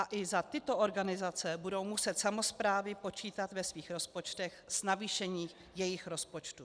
A i za tyto organizace budou muset samosprávy počítat ve svých rozpočtech s navýšením jejich rozpočtů.